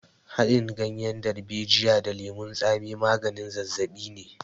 Haɗin ganyen darbejiya da lemon tsami maganin zazzaɓi ne.